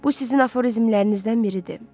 Bu sizin aforizmlərinizdən biridir.